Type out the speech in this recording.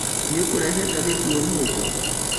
Nĩũkũĩrehe ngathĩti ũmũthĩ